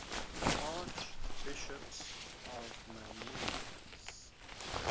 archbishops of mainz